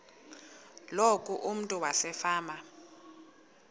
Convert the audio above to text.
loku umntu wasefama